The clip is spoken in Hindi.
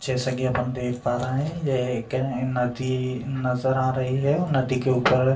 जैसा कि अपन हम देख पा रहे हैं ये एक नदी नजर आ रही है और नदी के ऊपर --